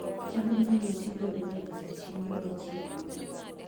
cham inyalo ti godo e loso chiemo e chiro